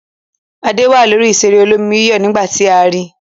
Adé wà lórí ìṣeré olómi-yíyọ̀ nígbà tí a ri.